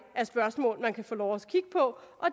af spørgsmål man kan få lov og